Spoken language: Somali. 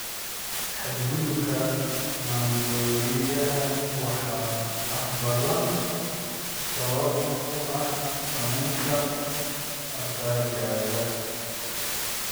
Xadgudubka maandooriyaha waxaa badanaa sabab u ah saameynta asaagga.